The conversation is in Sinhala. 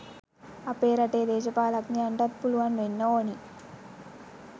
අපේ රටේ දේශපාලඥයන්ටත් පුළුවන් වෙන්න ඕනි.